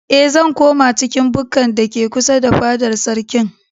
Eh, zan koma cikin bukkar da ke kusa da fadar sarkin.